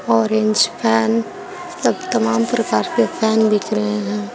Orange fan सब तमाम प्रकार के फैन बिक रहे हैं।